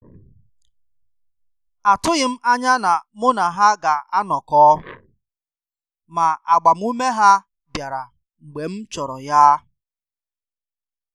Atụghị m anya na mụ na ha ga anọkọ, ma agbamume ha bịara mgbe m chọrọ ya.